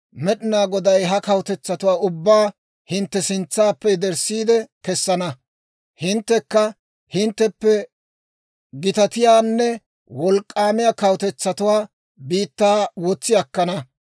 Med'inaa Goday ha kawutetsatuwaa ubbaa hintte sintsaappe yederssiide kessana; hinttekka hintteppe gitatiyaanne wolk'k'aamiyaa kawutetsatuwaa biittaa wotsi akkana.